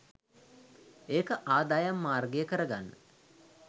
ඒක ආදායම් මාර්ගය කරගන්න